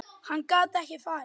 Hann gat ekki farið.